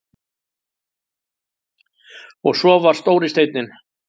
Og svo var stóri steinninn.